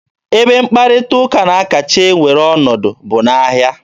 Ebe mkparịta ụka na-akacha ewere ọnọdụ bụ n'ahịa.